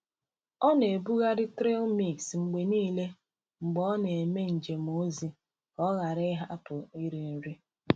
Ọ na-eburu trail mix mgbe niile mgbe ọ na-eme njem ozi ka o ghara ịhapụ iri nri.